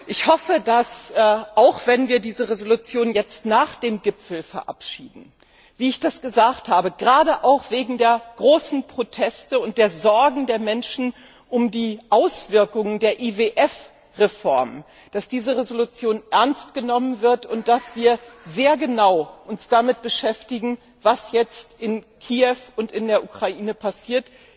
Ich hoffe, dass auch wenn wir diese Resolution nach dem Gipfel verabschieden gerade auch wegen der großen Proteste und der Sorgen der Menschen um die Auswirkungen der IWF Reform, diese Resolution ernst genommen wird und dass wir uns sehr genau damit beschäftigen, was jetzt in Kiew und in der Ukraine passiert.